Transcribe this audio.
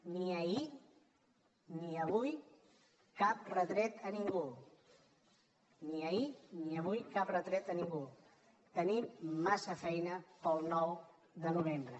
ni ahir ni avui cap retret a ningú ni ahir ni avui cap retret a ningú tenim massa feina per al nou de novembre